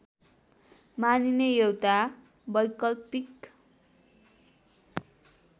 मानिने एउटा वैकल्पिक